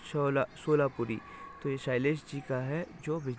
सोला सोलापूरी तो यह शैलेश जी का है जो भी --